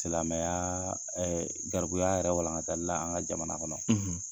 Silamɛya garibuya yɛrɛ walankatali an ka jamana kɔnɔ,